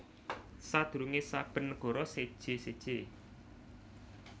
Sadurunge saben nagara séjé séjé